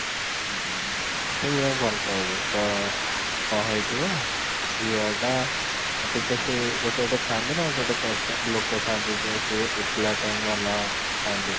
କେହି ଆଉ ଭଲ ପାଇବେନି ତ କ'ଣ ହେଇ ଥିବ ଝିଅ ଟା ଟିକେ ସେ ଥାନ୍ତି ନା ଗୋଟେ ଗୋଟେ ଲୋକ ଥାନ୍ତି ସେ ଏକେଲା time ଥାନ୍ତି